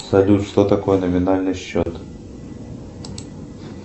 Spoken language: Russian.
салют что такое номинальный счет